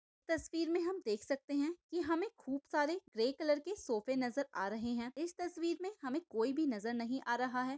इस तस्वीर मैं हम देख सखते है की हमे खूप सारे ग्रे कलर के सोफ़े नजर आ रहे है इस तस्वीर मैं हमे कोई भी नजर नहीं आ रहा है।